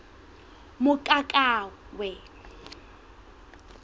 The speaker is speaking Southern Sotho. mokakawe